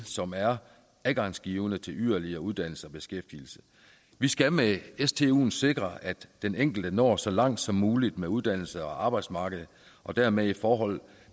som er adgangsgivende til yderligere uddannelse og beskæftigelse vi skal med stuen sikre at den enkelte når så langt som muligt med uddannelse og arbejdsmarked og dermed i forhold